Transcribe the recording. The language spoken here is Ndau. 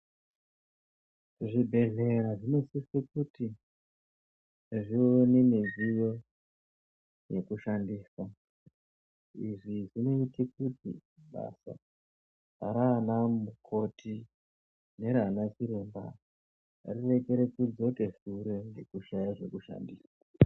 Zvibhedhlera zvinosise kuti zvive nemidziyo yekushandisa. Izvi zvinoite kuti basa rana mukoti nerana chiremba rirekere kudzoke shure ngekushaya zvekushandisa.